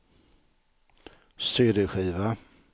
cd-skiva